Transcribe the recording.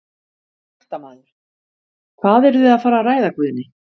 Fréttamaður: Hvað eruð þið að fara að ræða Guðni?